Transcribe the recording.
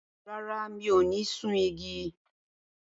Rárá, mi ò ní sun igi.